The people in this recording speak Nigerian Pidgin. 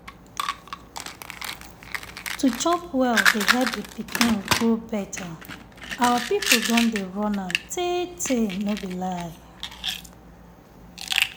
to chop well dey help the pikin grow better. our people don dey run am tey tey no be lie.